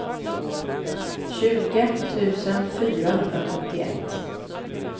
tjugo tusen fyrahundrasjuttioett